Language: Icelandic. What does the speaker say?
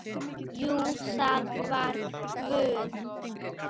Jú, það var Guð.